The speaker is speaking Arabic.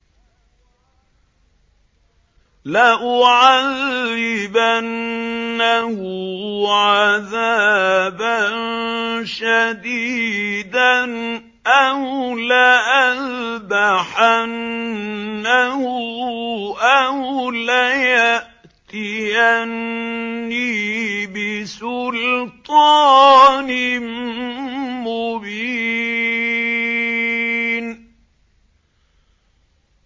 لَأُعَذِّبَنَّهُ عَذَابًا شَدِيدًا أَوْ لَأَذْبَحَنَّهُ أَوْ لَيَأْتِيَنِّي بِسُلْطَانٍ مُّبِينٍ